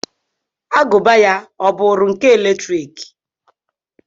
Agụba ya ọ bụụrụ nke eletrik?